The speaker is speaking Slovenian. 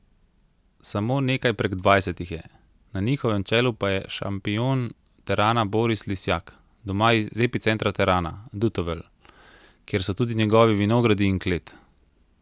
Samo nekaj prek dvajset jih je, na njihovem čelu pa je šampion terana Boris Lisjak, doma iz epicentra terana, Dutovelj, kjer so tudi njegovi vinogradi in klet.